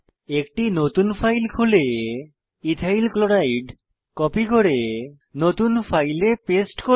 একটি নতুন ফাইল খুলে ইথাইল ক্লোরাইড কপি করে নতুন ফাইলে পেস্ট করুন